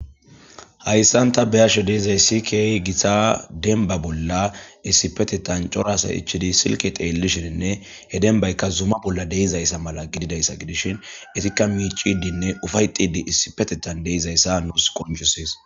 Hayissani ta be'ashe dizayisi kehi gitta demibba bollani issipetethani coora assayi ichiddi silike xellishene he demibayika zuma bolla deyessa gidishin izika miccidine ufeayetidi deyeyisa besesi